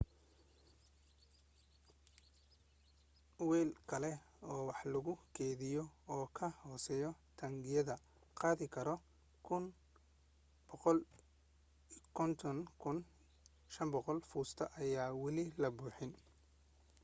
weel kale oo wax lagu kaydiyo oo ka hooseeya taangiyada qaadi kara 104,500 foost ayaa wali la buuxin